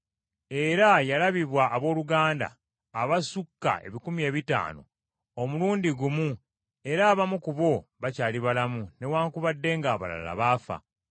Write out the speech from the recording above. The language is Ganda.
Era yalabibwa abooluganda abasukka ebikumi ebitaano omulundi gumu era abamu ku abo bakyali balamu newaakubadde ng’abalala baafa.